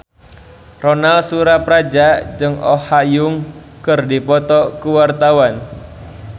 Ronal Surapradja jeung Oh Ha Young keur dipoto ku wartawan